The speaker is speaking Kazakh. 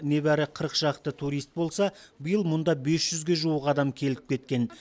небәрі шақты турист болса биыл мұнда ге жуық адам келіп кеткен